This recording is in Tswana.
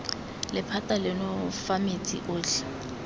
lephata leno fa metsi otlhe